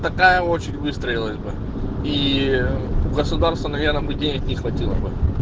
какая очередь выстроилась бы и у государства наверное бы денег не хватило бы